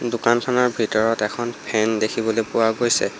দোকানখনৰ ভিতৰত এখন ফেন দেখিবলৈ পোৱা গৈছে।